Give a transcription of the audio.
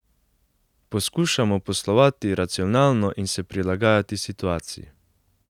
Poskušamo poslovati racionalno in se prilagajati situaciji.